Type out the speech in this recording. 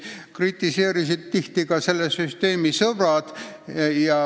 Tihti kritiseerisid seda ka selle sõbrad.